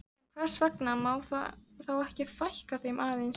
En hvers vegna má þá ekki fækka þeim aðeins?